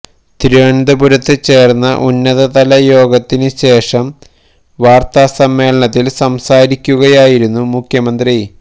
തിരുവനന്തപുരത്ത് ചേര്ന്ന ഉന്നതതല യോഗത്തിന് ശേഷം വാര്ത്താ സമ്മേളനത്തില് സംസാരിക്കുകയായിരുന്നു മുഖ്യമന്ത്രി